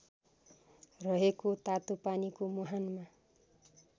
रहेको तातोपानीको मुहानमा